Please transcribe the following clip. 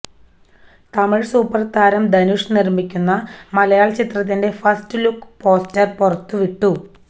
Tamil super താരം ധനുഷ് നിര്മിക്കുന്ന മലയാള ചിത്രത്തിന്റെ ഫസ്റ്റ് ലുക്ക് പോസ്റ്റര് പുറത്തു വിട്ടു